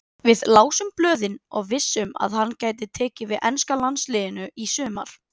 Við lásum blöðin og vissum að hann gæti tekið við enska landsliðinu í sumar.